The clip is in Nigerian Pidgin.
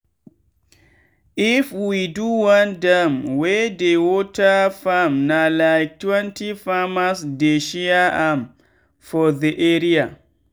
if we do one dam wey dey water farmna like twenty farmers dey share am for the area.